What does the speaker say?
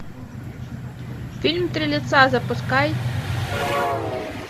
фильм три лица запускай